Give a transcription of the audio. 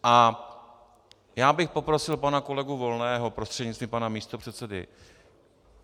A já bych poprosil pana kolegu Volného prostřednictvím pana místopředsedy.